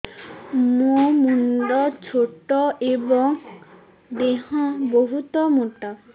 ମୋ ମୁଣ୍ଡ ଛୋଟ ଏଵଂ ଦେହ ବହୁତ ମୋଟା